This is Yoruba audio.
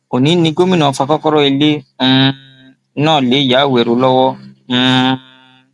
òní ni gómìnà fa kọkọrọ ilé um náà lé ìyá àwérò lọwọ um